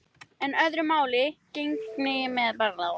En öðru máli gegnir með barnið.